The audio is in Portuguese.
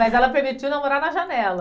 Mas ela permitiu namorar na janela.